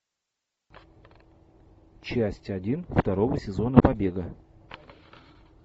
часть один второго сезона побега